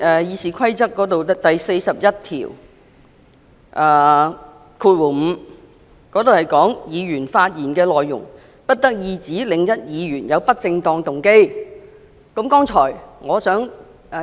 《議事規則》第415條提到"議員發言的內容不得意指另一議員有不正當動機"。